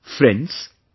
Friends,